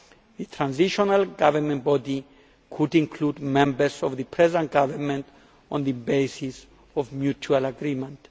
The transitional governing body could include members of the present government on the basis of mutual agreement.